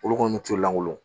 Olu kɔni t'o langolo